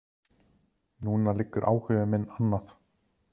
Núna liggur áhugi minn annað.